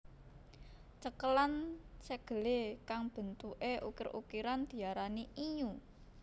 Cekelan segele kang bentuke ukir ukiran diarani innyu